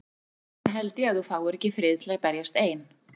Þess vegna held ég að þú fáir ekki frið til að berjast ein.